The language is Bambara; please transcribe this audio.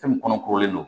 Fɛn min kɔnɔ kolen don